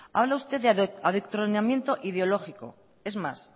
habla usted de adoctrinamiento ideológico es más